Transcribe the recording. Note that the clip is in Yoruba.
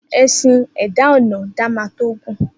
Esin e eda onen da ma ton gun.